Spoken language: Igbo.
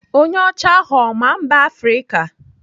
Onye ọcha ahụ ọ maa mba Afrịka?